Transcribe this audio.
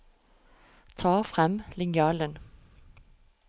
Ta frem linjalen